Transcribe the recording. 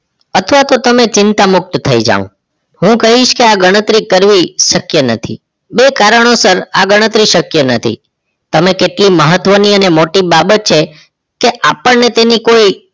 અથવા તો તમે ચિંતા મુક્ત થઈ જાવ હું કહીશ કે આ ગણતરી કરવી શક્ય નથી બે કારણોસર આ ગણતરી શક્ય નથી તમે કેટલી મહત્વની અને મોટી બાબત છે કે આપણને તેની કોઈ